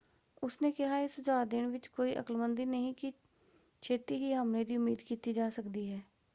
ਉਸਨੇ ਕਿਹਾ,"ਇਹ ਸੁਝਾਅ ਦੇਣ ਵਿੱਚ ਕੋਈ ਅਕਲਮੰਦੀ ਨਹੀਂ ਕਿ ਛੇਤੀ ਹੀ ਹਮਲੇ ਦੀ ਉਮੀਦ ਕੀਤੀ ਜਾ ਸਕਦੀ ਹੈ।